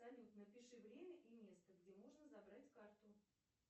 салют напиши время и место где можно забрать карту